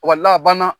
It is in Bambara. a banna